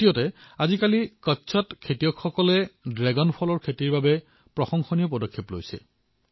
আনফালে আজিকালি কচ্ছত কৃষকসকলে ড্ৰেগন ফলৰ খেতিৰ বাবে প্ৰশংসনীয় কাৰ্য কৰি আছে